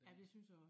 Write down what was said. Ja det synes jeg også